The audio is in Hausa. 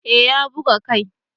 Eh ya buga kai